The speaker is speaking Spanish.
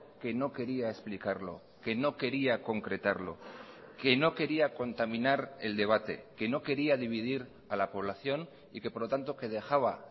que no quería explicarlo que no quería concretarlo que no quería contaminar el debate que no quería dividir a la población y que por lo tanto que dejaba